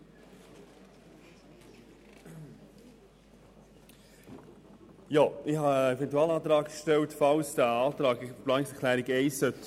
Ich habe den Eventualantrag für den Fall gestellt, dass die Planungserklärung 1 nicht angenommen werden sollte.